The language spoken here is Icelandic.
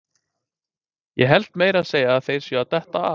Ég held meira að segja að þeir séu að detta af!